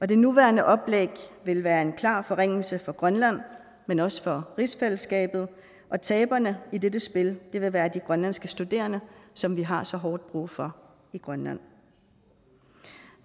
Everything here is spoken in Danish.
det nuværende oplæg vil være en klar forringelse for grønland men også for rigsfællesskabet og taberne i dette spil vil være de grønlandske studerende som vi har så hårdt brug for i grønland